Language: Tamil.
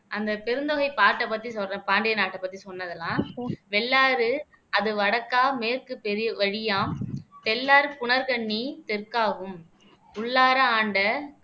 அந்த பெருந்தொகை பாட்டை பத்தி சொல்றேன் பாண்டிய நாட்டை பத்தி சொன்னது எல்லாம் வெள்ளாறு அது வடக்கா மேற்கு பெரு வழியாம் தெள்ளார் புனர் கண்ணி தெற்காகும் உள்ளாற ஆண்ட